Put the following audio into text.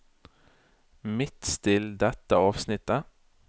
Midtstill dette avsnittet